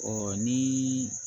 Ɔ ni